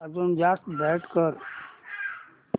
अजून जास्त ब्राईट कर